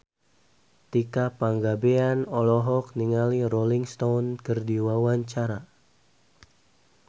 Tika Pangabean olohok ningali Rolling Stone keur diwawancara